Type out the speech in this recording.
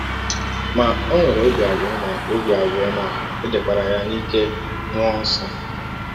Ma, ọ nwere ọbi abụọ ma ọbi abụọ ma è dekwara ya n’ike mmụọ nsọ.